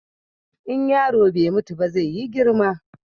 In yaro bai mutu ba zai yi girma.